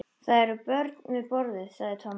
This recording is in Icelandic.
Það eru börn við borðið, sagði Tommi.